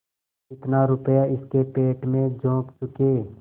जितना रुपया इसके पेट में झोंक चुके